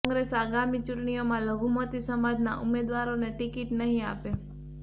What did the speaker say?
કોંગ્રેસ આગામી ચૂંટણીઓમાં લઘુમતી સમાજના ઉમેદવારોને ટિકિટ નહીં આપે